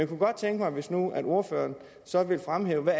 kunne godt tænke mig hvis nu ordføreren så ville fremhæve hvad